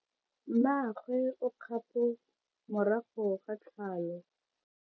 Mmagwe o kgapo morago ga tlhalo.